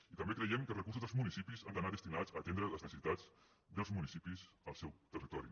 i també creiem que els recursos dels municipis han d’anar destinats a atendre les necessitats dels municipis al seu territori